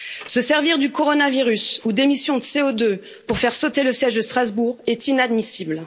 Se servir du coronavirus ou des émissions de CO2 pour faire sauter le siège de Strasbourg est inadmissible.